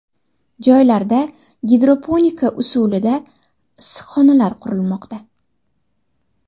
Joylarda gidroponika usulida issiqxonalar qurilmoqda.